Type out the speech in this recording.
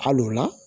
Al'o la